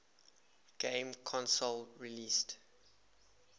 game console released